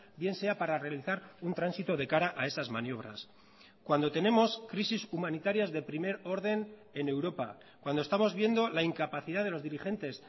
bien sea para realizar un tránsito de cara a esas maniobras cuando tenemos crisis humanitarias de primer orden en europa cuando estamos viendo la incapacidad de los dirigentes